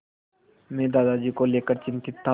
मैं दादाजी को लेकर चिंतित था